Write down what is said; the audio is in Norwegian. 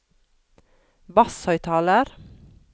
basshøyttaler